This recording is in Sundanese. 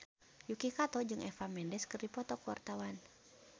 Yuki Kato jeung Eva Mendes keur dipoto ku wartawan